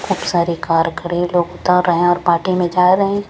अब सारे कार करें लोग उतर रहे हैं और पार्टी में जा रहे हैं।